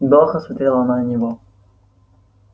долго смотрела она на него